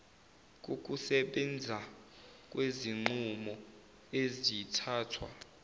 kokusebenza kwezinqumo ezithathwe